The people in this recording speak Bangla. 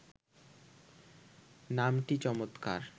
নামটি চমৎকার